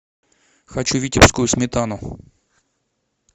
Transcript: хочу витебскую сметану